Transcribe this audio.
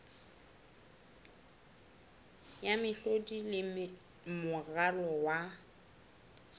ya mehlodi le moralo wa